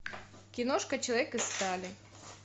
киношка человек из стали